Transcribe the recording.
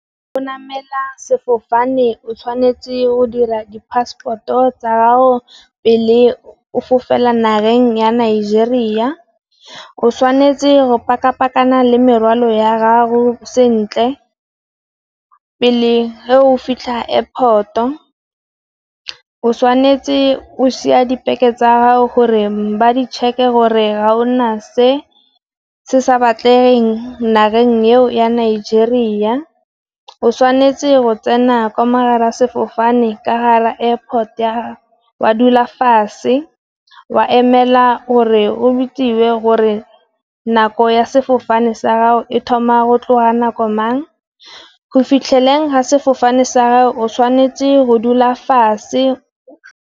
Go namela sefofane o tshwanetse go dira di Phaseporoto tsago pele o fofela nageng ya Nigeria. O tshwanetse go paka-pakana le merwalo ya gago sentle, pele fa ge o fitlha Airport-o, o tshwanetse go siya dibeke tsa gore ba ditšheke gore ha o na se se sa batlegeng nageng eo ya Nigeria. O tshwanetse go tsena ka mo gare ga sefofane ka gare ga Airport wa dula fase, wa emela gore o bidiwe gore nako ya sefofane sa gago e thoma go tloga nako mang, go fitlheleng ga sefofane sa gago o tshwanetse go dula fase.